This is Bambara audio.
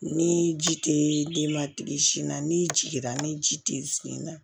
Ni ji tɛ denbatigi sin na n'i jiginna ni ji tɛ sen na